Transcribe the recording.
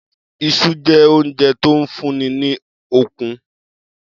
Is̩u jé̩ oúnje̩ tó ń fún ni ní okun